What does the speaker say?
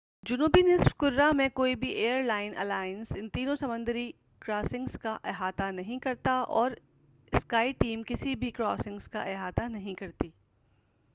جنوبی نِصف کُرہ میں کوئی بھی ایئر لائن الائنس ان تینوں سمندی کراسسنگز کا احاطہ نہیں کرتا اور سکائی ٹیم کسی بھی کراسسنگز کا احاطہ نہیں کرتی-